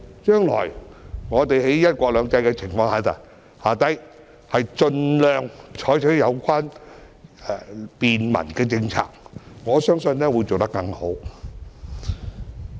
將來在"一國兩制"下，我們應該盡量採取便民政策，我相信將會做得更好。